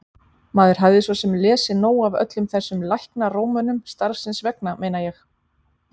Maður hafði svo sem lesið nóg af öllum þessum læknarómönum, starfsins vegna meina ég.